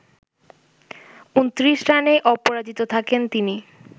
২৯ রানে অপরাজিত থাকেন তিনি